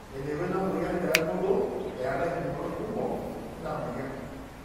eneiko ina mweyian pee ebulu, eetai impukunot kumok ina mweyian